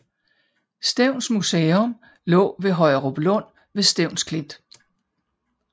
Stevns Museum lå ved Højeruplund ved Stevns Klint